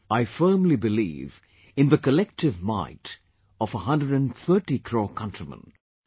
I firmly believe in the collective might of 130 crore countrymen...